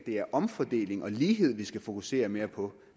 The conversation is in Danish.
det er omfordeling og lighed vi skal fokusere mere på